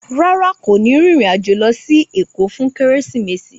Rárá, kò ní rìnrìn-àjò lọ sí Èkó fún Kérésìmesì